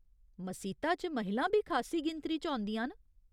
मसीता च महिलां बी खासी गिनतरी च औंदियां न।